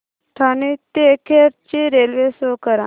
ठाणे ते खेड ची railway show करा